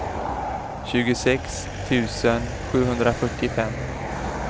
tjugosex tusen sjuhundrafyrtiofem